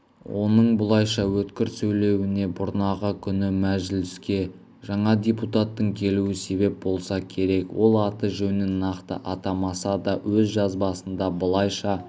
оның бұлайша өткір сөйлеуіне бұрнағы күні мәжіліске жаңа депутаттың келуі себеп болса керек ол аты-жөнін нақты атамаса да өз жазбасында былайша